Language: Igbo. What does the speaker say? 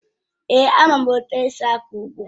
Èé, ama m etu esi akọ ugbo